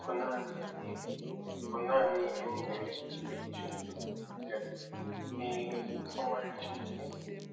Ọ bụ naanị ihe bụ naanị ihe m nwere ike ime iji nweta okwu ndị a, "Ee, ọmarịcha ihe."